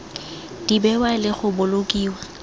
di bewa le go bolokiwa